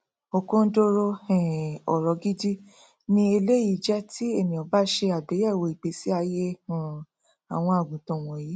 òkondoro um ọrọ gidi ni eléyìí jẹ tí ènìà bá ṣe àgbéyẹwò ìgbésí aiyé um àwọn àgùntàn wọnyìí